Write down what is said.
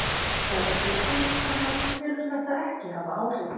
Þóra Kristín: Þannig að þú telur þetta ekki hafa áhrif?